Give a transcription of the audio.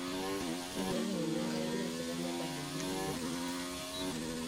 tenelauni enkare naa keitanyamal ebulunoto